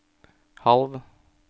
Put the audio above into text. halv